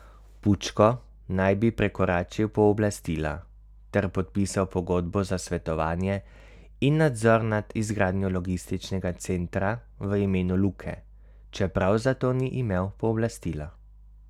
Pučko naj bi prekoračil pooblastila ter podpisal pogodbo za svetovanje in nadzor nad izgradnjo logističnega centra v imenu Luke, čeprav za to ni imel pooblastila.